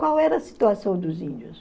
Qual era a situação dos índios?